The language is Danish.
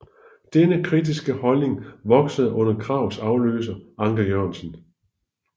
Denne kritiske holdning voksede under Krags afløser Anker Jørgensen